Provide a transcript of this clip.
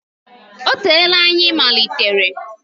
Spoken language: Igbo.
Ọ teela anyị malitere.